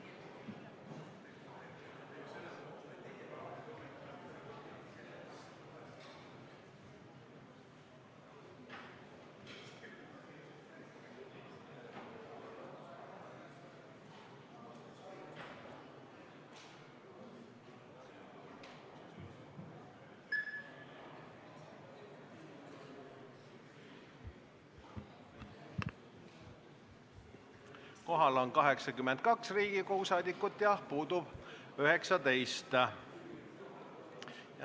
Kohaloleku kontroll Kohal on 82 Riigikogu liiget ja puudub 19.